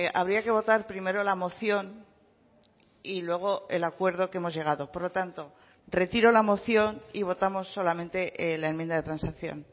habría que votar primero la moción y luego el acuerdo que hemos llegado por lo tanto retiro la moción y votamos solamente la enmienda de transacción